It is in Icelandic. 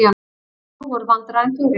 Næg voru vandræðin fyrir.